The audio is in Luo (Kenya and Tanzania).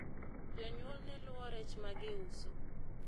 jonyuol ne luwo rech magiuso